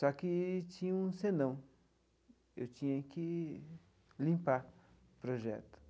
Só que tinha um senão, eu tinha que limpar o projeto.